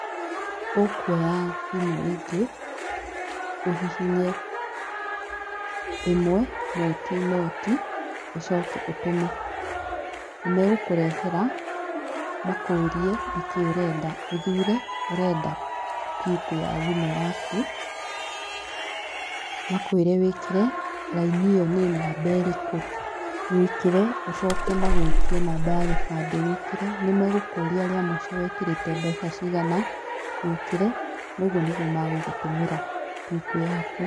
Ũkuoya thimũ ingĩ, ũhihinye ĩmwe noti noti, ũcoke ũtũme. Nĩgũkũrehere makũrie nĩkĩi ũrenda. Ũthure ũrenda PUK ya thimũ yaku, makwĩre wĩkĩra raini ĩyo nĩ namba ĩrĩkũ, wĩkĩre, ũcoke magwĩtie namba ya gĩbandĩ wĩkĩre, nĩmegũkũria rĩa mũico wekĩrĩte mbeca cigana, wĩkĩre noguo nĩguo magũgũtũmĩra PUK yaku.